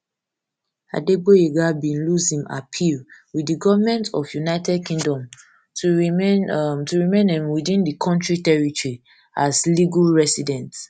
adegboyega bin lose im appeal with di gomentof united kingdom to remain um to remain um within di kontri territory as legal resident